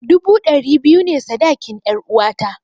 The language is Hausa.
Dubu dari biyu ne sadakin 'yaruwata.